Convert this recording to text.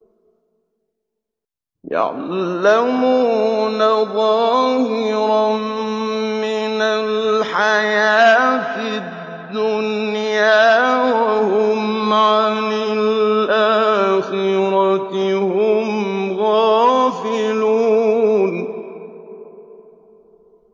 يَعْلَمُونَ ظَاهِرًا مِّنَ الْحَيَاةِ الدُّنْيَا وَهُمْ عَنِ الْآخِرَةِ هُمْ غَافِلُونَ